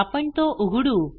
आपण तो उघडू